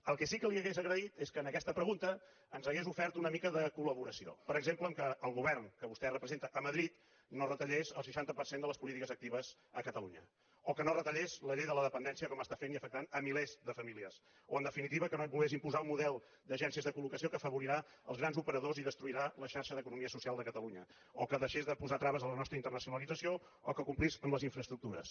el que sí que li hauria agraït és que en aquesta pregunta ens hagués ofert una mica de col·laboració per exemple que el govern que vostè representa a madrid no retallés el seixanta per cent de les polítiques actives a catalunya o que no retallés la llei de la dependència com està fent i afectant milers de famílies o en definitiva que no volgués imposar un model d’agències de colque afavori rà els grans operadors i destruirà la xarxa d’economia social de catalunya o que deixés de posar traves a la nostra internacionalització o que complís amb les infraestructures